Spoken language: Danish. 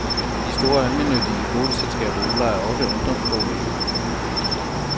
De store almennyttige boligselskaber udlejer også ungdomsboliger.